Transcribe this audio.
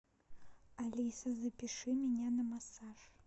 алиса запиши меня на массаж